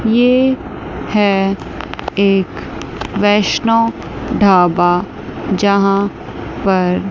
ये है एक वैष्णो ढाबा यहां पर--